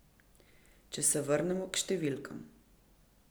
Če se vrnemo k številkam.